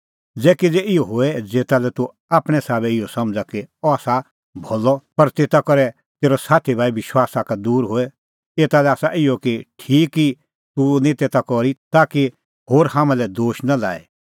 ज़ै किज़ै इहअ होए ज़ेता लै तूह आपणैं साबै इहअ समझ़ा कि अह आसा भलअ पर तेता करै तेरअ साथी भाई विश्वासा का दूर होए एता लै आसा इहअ ई ठीक कि तूह निं तेता करी ताकि होर हाम्हां लै दोश नां लाए